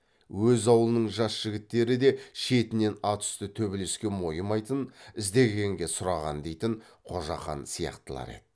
өз аулының жас жігіттері де шетінен ат үсті төбелеске мойымайтын іздегенге сұраған дейтін қожақан сияқтылар еді